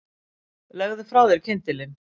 Legðu frá þér kyndilinn